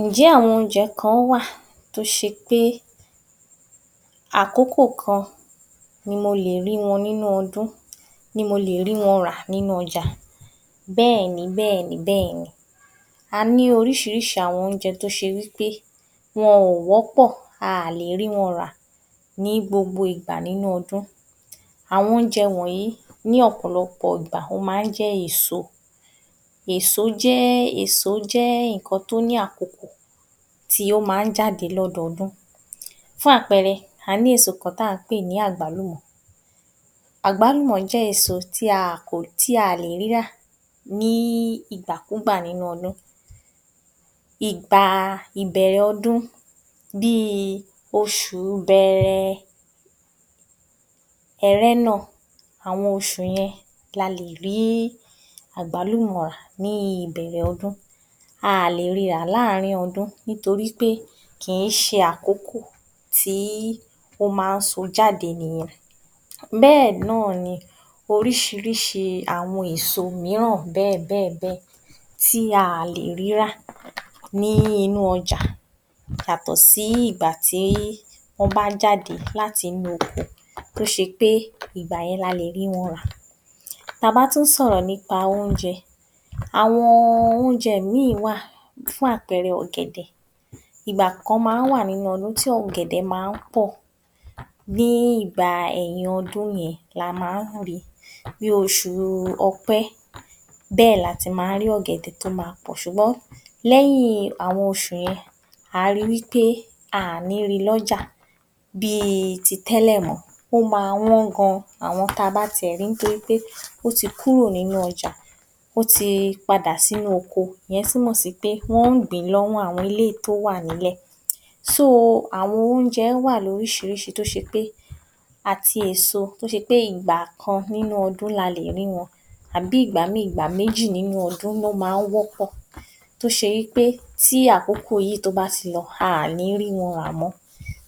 Ǹ jẹ́ àwọn oúnjẹ kan wá à tó ṣe pé àkókò kan ni mo lè rí wọn nínú ọdún? Ni mo lè rí wọn rà nínú ọjà? Bẹ́ẹ̀ ni bẹ́ẹ̀ ni bẹ́ẹ̀ ni, a ní oríṣìíríṣìí àwọn oúnjẹ tó ṣe wí pé wọn ò wọ́pọ̀ a à le rí wọn rà ní gbogbo ìgbà nínú ọdún àwọn oúnjẹ wọ̀nyí ní ọ̀pọ̀lọpọ̀ ìgbà ó máa ń jẹ́ èso. Èso jẹ́ èso jẹ́ nǹkan tó ní àkókò tí ó máa ń jáde lọ́dọọdún, fún àpẹẹrẹ a ní èso kan tó ń jẹ́ àgbálùmọ́, àgbálùmọ́ jẹ́ èso tí a kò tí a ò lè rí rà ní ìgbàkúùgbà nínú ọdún, ìgbà ìbẹ̀rẹ̀ ọdún bí i oṣùu Bẹrẹ, Ẹrẹ́nà àwọn oṣù yẹn la lè rí àgbálùmọ́ rà ní ìbẹ̀rẹ̀ ọdún a ò lè ri rà láàárín ọdún nítorí pé kì í ṣe àkókò tí ó máa ń so jáde nìyẹn. Bẹ́ẹ̀ náà ni oríṣi àwọn èso mìíràn tí a ò lè rírà ní inú ọjà yàtọ̀ sí ìgbà tí wọ́n bá jáde láti inú oko tó ṣe pé ìgbà yẹn la lè rí wọn rà. Ta bá tún sọ̀rọ̀ nípa oúnjẹ, àwọn oúnjẹ míì wá à fún àpẹẹrẹ, ọ̀gẹ̀dẹ̀ ìgbà kan máa ń wà nínú ọdún tí ọ̀gẹ̀dẹ̀ máa ń pọ̀ ní ìgbà ẹ̀yin ọdún yẹn la máa ń rí i, bí oṣù Ọ̀pẹ bẹ́ẹ̀ la ti máa ń rí ọ̀gẹ̀dẹ̀ tó máa pọ̀, ṣùgbọ́n lẹ́yìn àwọn oṣù yẹn à á ri wí pé a ò ní ri lọ́jà bí iti tẹ́lẹ̀ mọ́ ó máa wọ́n gan-an àwọn ta bá ti ẹ̀ rí pé, à á rí i wí pé ó ti kúrò nínú ọjà ó ti padà sínú oko ìyẹn túmọ̀ sí wí pé wọ́n ń gbìn ín lọ́wọ́ àwọn eléyìí tó wà nílẹ̀. So, àwọn oúnjẹ wá à lóríṣiríṣi tó ṣe pé àti èso tó ṣe pé ìgbà kan nínú ọdún àbí ìgbà méjì nínú ọdún ló máa ń wọ́pọ̀ tó ṣe wí pé tó bá ti lọ a ò ní rí wọn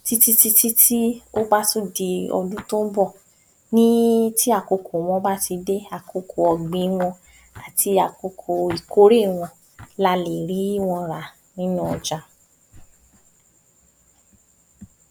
tí tí tí tí ó bá tún di ọdún tó ń bọ̀ ní tí àkokò wọn bá ti dé àkokò ọ̀gbìn wọn àti àkókò ìkórè wọn la lè rí wọn rà.